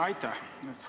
Aitäh!